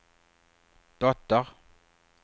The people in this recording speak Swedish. dotter